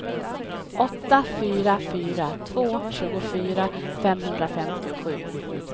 åtta fyra fyra två tjugofyra femhundrafemtiosju